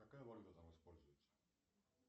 какая валюта там используется